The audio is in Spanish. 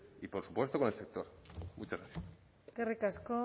y por supuesto con el sector muchas gracias eskerrik asko